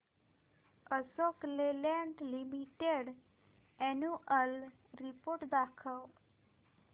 Ashok Leyland limited annual report दाखव